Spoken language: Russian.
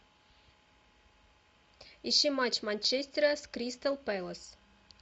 ищи матч манчестера с кристал пэлас